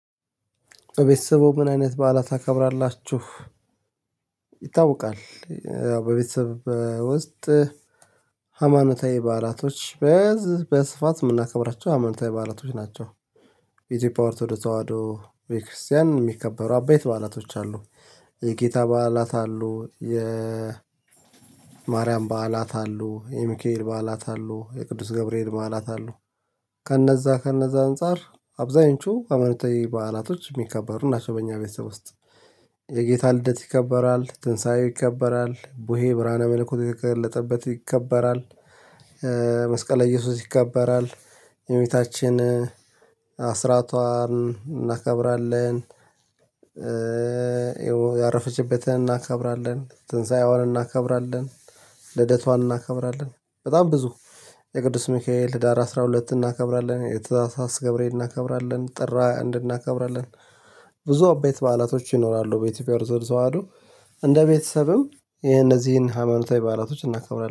በቤተሰብዎ ምን አይነት በዓላት ታከብራላችሁ? ይታወቃል በቤተሰብ ውስጥ ሃማኖታዊ በዓላቶች በስፋት የምናከብራቸው ሃማኖታዊ በዓላቶች ናቸው። የኢትዮጵያ ኦርቶዶክስ ተዋህዶ ቤተ ክርስቲያን የሚከበሩ አበይት በዓላቶች አሉ። የጌታ በዓላት አሉ የማርያም በዓላት አሉ የሚካኤል በዓላት አሉ የቅዱስ ገብርኤል መዓላት አሉ። ከነዛ ከነዛ አንፃር አብዛኞቹ ሃይማኖታዊ በዓላቶች የሚከበሩ እናቸው በእኛ ቤተሰብ ውስጥ። የጌታ ልደት ይከበራል ትንሳኤው ይከበራል ቦሄ ብርሃነ መልኩት የተገለጠበት ይከበራል። መስቀለ እየሱስ ይከበራል። የእመቤታችን አስራቷን እናከብራለን ያረፈችበትን እናከብራለን ትንሳኤዋን እናከብራለን። ልደቷን እናከብራለን በጣም ብዙ የቅዱስ ሚካኤል ህዳር አስራ ሁለት እናከብራለን የታህሳስ ገብርኤል እናከብራለን ጥር ሃያ አንድ እንድናከብራለን። ብዙ አበይት በዓላቶች ይኖራሉ በኢትዮጵያ ኦርቶዶክስ ተዋህዶ እንደ ቤተሰብም የነዚህን ሃይማኖታዊ በዓላቶች እናከብራለን